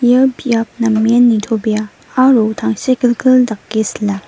ia biap namen nitobea aro tangsekgilgil dake sila.